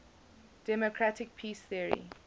democratic peace theory